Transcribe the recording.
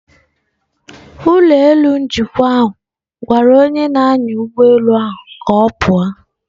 Ụlọ elu njikwa ahụ gwara onye na-anya ụgbọelu ka ọ pụọ.